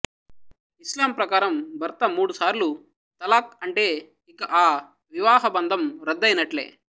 ఇస్లాం ప్రకారం భర్త మూడుసార్లు తలాక్ అంటే ఇక ఆ వివాహ బంధం రద్దు అయినట్లే